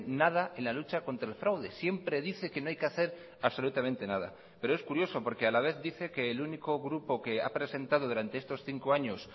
nada en la lucha contra el fraude siempre dice que no hay que hacer absolutamente nada pero es curioso porque a la vez dice que el único grupo que ha presentado durante estos cinco años